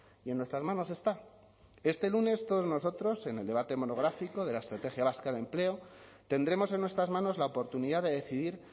y en nuestras manos está este lunes todos nosotros en el debate monográfico de la estrategia vasca de empleo tendremos en nuestras manos la oportunidad de decidir